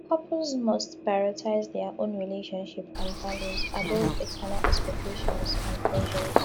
couples must prioritize dia own relationship and values above external expectations and pressures